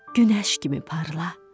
Günəş kimi parla.